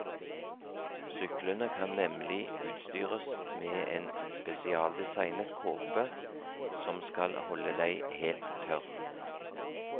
Syklene kan nemlig utstyres med en spesialdesignet kåpe som skal holde deg helt tørr.